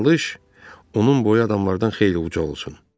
Çalış, onun boyu adamların xeyli uca olsun.